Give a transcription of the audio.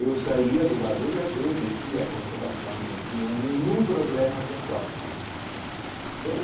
E eu saía de lá do i á dê descia a consolação que não tinha nenhum problema de assalto, né? Eh